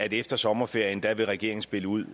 at efter sommerferien vil regeringen spille ud